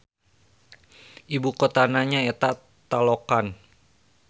Ibu kotana nyaeta Taloqan.